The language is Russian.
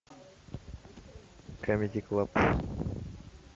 камеди клаб